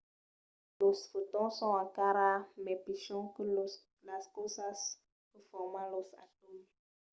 los fotons son encara mai pichons que las causas que forman los atòms!